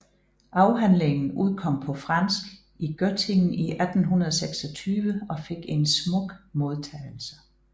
Afhandlingen udkom på fransk i Göttingen i 1826 og fik en smuk modtagelse